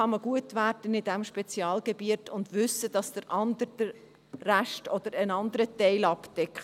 Dann kann man in diesem Spezialgebiet gut werden und wissen, dass der andere den Rest oder einen anderen Teil abdeckt.